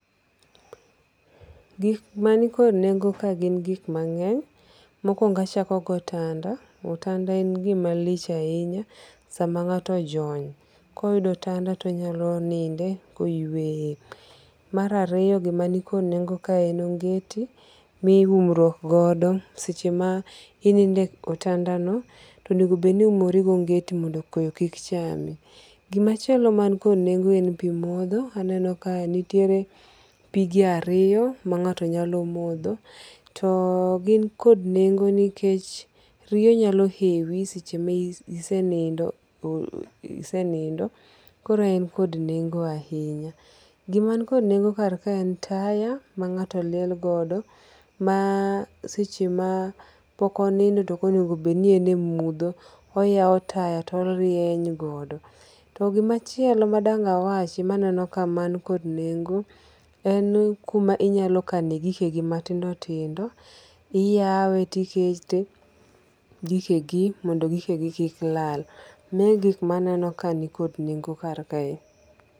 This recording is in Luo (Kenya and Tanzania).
Gik mani kod nengo' kae gi gik mangeny ,mokuongo' achako gi otanda, atanda en gima lich ahinya samanga'to ojony ka oyudo otanda to onyalo ninde ka oyueye , marariyo gima ni kod nengo kae en onge'ti miumruok godo seche ma inindo e otandano to enego bed ni iumori gi onget mondo koyo kik chami, gimachielo man kod nengo en pi motho aneno kae nitiere pige ariyo ma ngato nyalo motho to gi kod nengo nikech riyo nyalo hewi seche ma isenindo isenindo koro en koda nengo' ahinya, gima en kod nengo' kar kaendi en taya ma ngato liel godo maseche ma pokonindo to okonego bed ni ene mutho oyawo taya to orieny godo, to gimachielo madanga'wachi maneno kae madangawachi man kod nengo' en kuma inyalo kane gikegi matindo tindo iyawe to ikete gikegi mondo gikegi kik lal mae gik maneno ka nikod nengo' kae